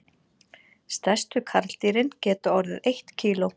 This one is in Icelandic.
Stærstu karldýrin geta orðið eitt kíló.